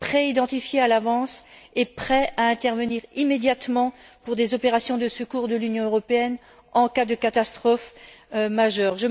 identifiés à l'avance et prêts à intervenir immédiatement pour des opérations de secours de l'Union européenne en cas de catastrophes majeures.